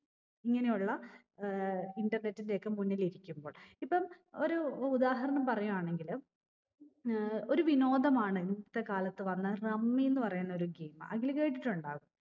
ഇങ്ങനെയുള്ള ഏർ internet ന്റെയൊക്കെ മുന്നിലിരിക്കുമ്പോൾ ഇപ്പം ഒരു ഉദാഹരണം പറയു ആണെങ്കില് ഏർ ഒരു വിനോദമാണ് ഇന്നത്തെ കാലത്ത് വന്ന rummy ന്ന് പറയുന്നൊരു game അഖിൽ കേട്ടിട്ടുണ്ടാവും